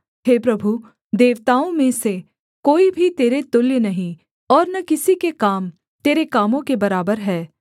हे प्रभु देवताओं में से कोई भी तेरे तुल्य नहीं और न किसी के काम तेरे कामों के बराबर हैं